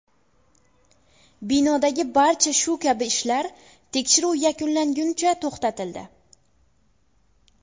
Binodagi barcha shu kabi ishlar tekshiruv yakunlanguncha to‘xtatildi.